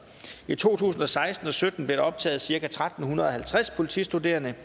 i to tusind og seksten og sytten blev der optaget cirka tretten halvtreds politistuderende